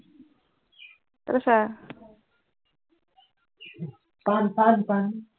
তাতে চা